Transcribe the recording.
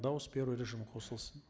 дауыс беру режимі қосылсын